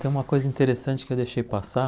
Tem uma coisa interessante que eu deixei passar.